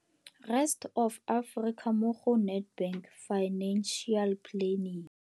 Rest Of Africa mo go Nedbank Financial Planning.